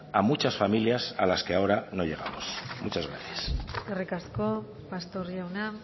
a muchas familias a las que ahora no llegamos muchas gracias eskerrik asko pastor jauna